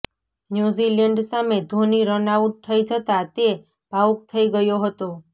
New Zealand સામે Dhoni run out થઇ જતા તે ભાવુક થઇ ગયો હતો